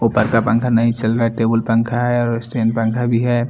ऊपर का पंखा नही चल रहा हैं टेबुल पंखा हैं और स्टैंड पंखा भी हैं।